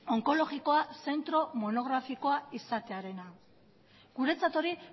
onkologikoa zentro monografikoa izatearena guretzat hori